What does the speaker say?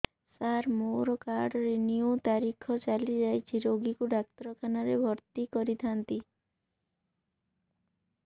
ସାର ମୋର card renew ତାରିଖ ଚାଲି ଯାଇଛି ରୋଗୀକୁ ଡାକ୍ତରଖାନା ରେ ଭର୍ତି କରିଥାନ୍ତି